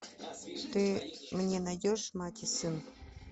ты мне найдешь мать и сын